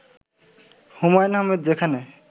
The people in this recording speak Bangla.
হুমায়ূন আহমেদ যেখানে